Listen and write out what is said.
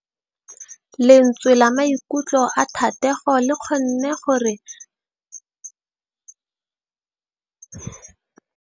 Lentswe la maikutlo a Thategô le kgonne gore re lemosa botlhoko jwa pelô ya gagwe.